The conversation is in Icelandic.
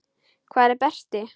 Hvar er Berti?